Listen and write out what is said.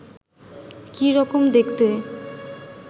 কি রকম দেখতে